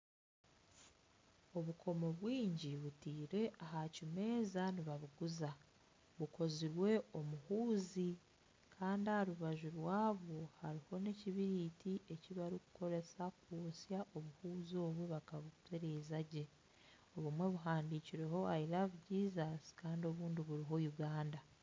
Obukomo bwingi butaire aha kimeeza nibabuguza bukozirwe omuhuuzi Kandi aharubaju rwabwo hariho nekibiriti ekibarikukoresa kwosya obuhuzi obwo bakabutereeza gye obumwe buhandiikireho l love Jesus Kandi obundi buriho uganda